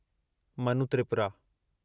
Manu Tripura